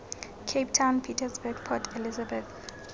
cape town pietersburg port elizabeth